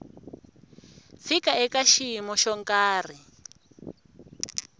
fika eka xiyimo xo karhi